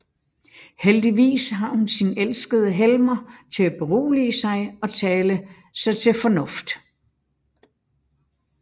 Heldigvis har hun sin elskede Helmer til at berolige sig og tale sig til fornuft